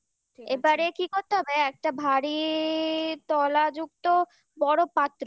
এবারে কি করতে হবে একটা ভারী তলা যুক্ত বড় পাত্র